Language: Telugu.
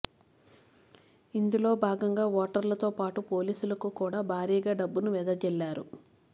ఇందులో భాగంగా ఓటర్లతో పాటు పోలీసులకు కూడా భారీగా డబ్బును వెదజల్లారు